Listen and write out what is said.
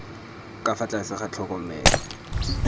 ka fa tlase ga tlhokomelo